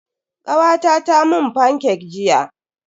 Kawata ta mun fancake jiya.